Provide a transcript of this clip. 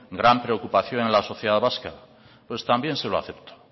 gran preocupación en la sociedad vasca pues también se lo acepto